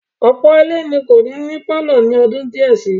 Ọ̀pọ̀ ilé ni kò ní ní pálọ̀ ní ọdún díẹ̀ si.